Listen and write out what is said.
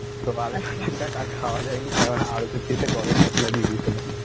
তো আর খাওয়া যায়নি কারণ আলু চচ্চড়িতে গরম মসলা দিয়ে দিয়েছিলাম